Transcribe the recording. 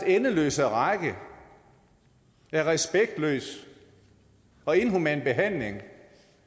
endeløse række af respektløs og inhuman behandling